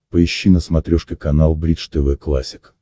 поищи на смотрешке канал бридж тв классик